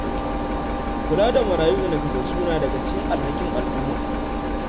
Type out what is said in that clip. Kula da marayu da nakasassu na daga cikin alhakin al’umma.